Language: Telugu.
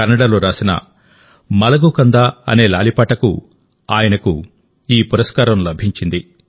కన్నడలో రాసిన మలగు కంద అనే లాలిపాటకు ఆయనకు ఈ పురస్కారం లభించింది